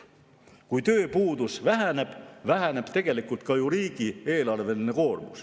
Kui tööpuudus väheneb, väheneb tegelikult ka koormus riigieelarvele.